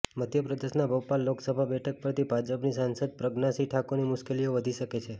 મધ્યપ્રદેશના ભોપાલ લોકસભા બેઠક પરથી ભાજપની સાંસદ પ્રજ્ઞાસિંહ ઠાકુરની મુશ્કેલીઓ વધી શકે છે